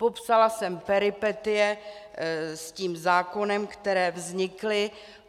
Popsala jsem peripetie s tím zákonem, které vznikly.